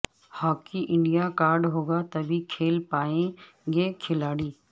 hockey India card ہوگا تبھی کھیل پائیں گے کھلاڑی